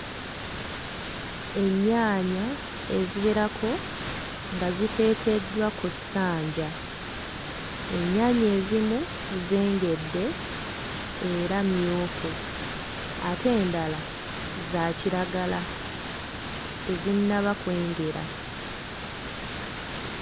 Ennyaanya eziwerako nga ziteekeddwa ku ssanja ennyaanya ezimu zengedde era mmyufu ate endala za kiragala tezinnaba kwengera.